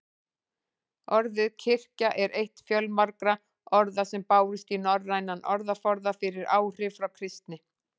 Orðið kirkja er eitt fjölmargra orða sem bárust í norrænan orðaforða fyrir áhrif frá kristni.